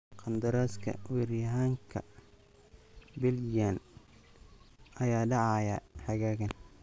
Qandaraaska weeraryahanka Belgian ayaa dhacaya xagaagan.